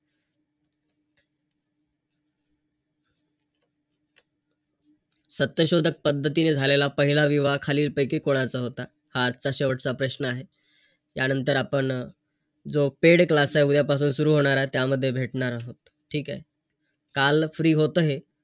आणि आपल्याला त्या गोष्टीचं ज्ञान प्राप्त होतं की आपण कधीही काहीही